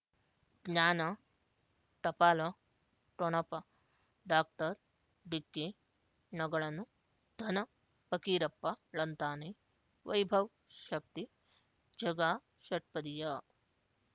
ಜ್ಞಾನ ಟಪಾಲು ಠೊಣಪ ಡಾಕ್ಟರ್ ಢಿಕ್ಕಿ ಣಗಳನು ಧನ ಫಕೀರಪ್ಪ ಳಂತಾನೆ ವೈಭವ್ ಶಕ್ತಿ ಝಗಾ ಷಟ್ಪದಿಯ